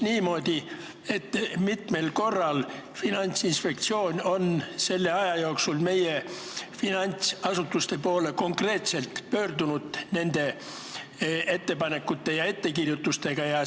Kui mitmel korral Finantsinspektsioon on selle aja jooksul konkreetselt pöördunud meie finantsasutuste poole ettepanekute ja ettekirjutustega?